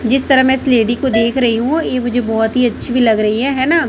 जिस तरह मैं इस लेडी को देख रही हूं ये मुझे बहोत ही अच्छी भी लग रहीं हैं है ना--